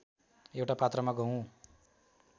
एउटा पात्रमा गहुँ